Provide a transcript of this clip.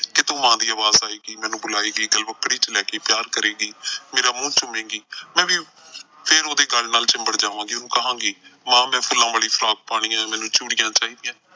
ਕਿਤੋਂ ਮਾਂ ਦੀ ਆਵਾਜ਼ ਆਏਗੀ, ਮੈਨੂੰ ਬੁਲਾਏਗੀ ਗਲਵੱਕੜੀ ਚ ਲੈ ਕੇ ਪਿਆਰ ਕਰੇਗੀ। ਮੇਰਾ ਮੂੰਹ ਚੁੰਮੇਗੀ ਮੈਂ ਵੀ ਉਹਦੇ ਫਿਰ ਗੱਲ ਨਾਲ ਚਿੰਬੜ ਜਾਵਾਂਗੀ ਔਰ ਕਹਾਂਗੀ, ਮਾਂ ਮੈਂ ਫੁੱਲਾਂ ਵਾਲੀ ਫ਼ਰਾਕ ਪਾਉਣੀ ਐ, ਮੈਨੂੰ ਚੂੜੀਆਂ ਚਾਹੀਦੀਆਂ।